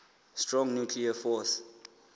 strong nuclear force